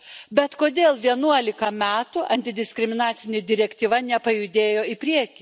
Bet kodėl vienuolika metų antidiskriminacinė direktyva nepajudėjo į priekį?